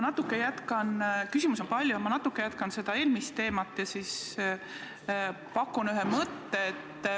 Küsimusi on palju, ma natuke jätkan eelmist teemat ja pakun ka välja ühe mõtte.